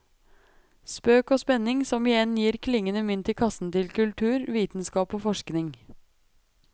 Spøk og spenning, som igjen gir klingende mynt i kassen til kultur, vitenskap og forskning.